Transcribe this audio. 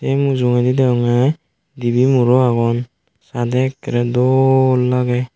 sei mujungedi degongey dibey muro agon sadey ekkorey dol lagey.